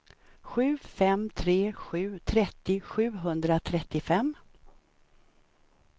sju fem tre sju trettio sjuhundratrettiofem